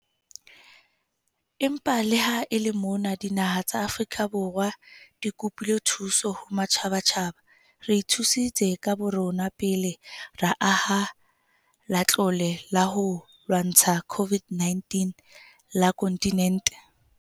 Empa le ha e le mona dinaha tsa Afrika di kopile thuso ho matjhabatjhaba, re ithusitse ka borona pele ra aha Latlole la ho lwantsha COVID-19 la kontinente.